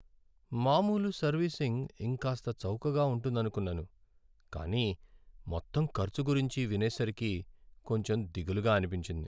మామూలు సర్వీసింగ్ ఇంకాస్త చౌకగా ఉంటుందనుకున్నాను, కానీ మొత్తం ఖర్చు గురించి వినేసరికి కొంచెం దిగులుగా అనిపించింది.